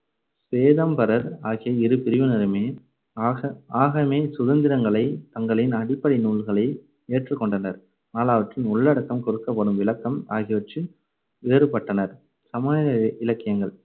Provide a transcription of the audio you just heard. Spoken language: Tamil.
சுவேதாம்பரர் ஆகிய இரு பிரிவினருமே ஆக~ஆகமே சுதந்திரங்களை தங்களின் அடிப்படை நூல்களை ஏற்றுக்கொண்டனர். ஆனால் உள்ளடக்கம், கொடுக்கப்படும் விளக்கம் ஆகியவற்றில் வேறுபட்டனர். சமண இலக்கியங்கள்